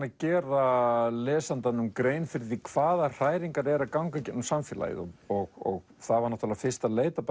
að gera lesandanum grein fyrir hvaða hræringar eru að ganga í gegnum samfélagið og það var fyrst að leita